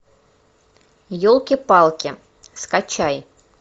елки палки скачай